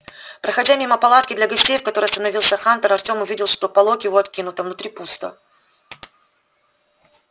проходя мимо палатки для гостей в которой остановился хантер артем увидел что полог её откинут а внутри пусто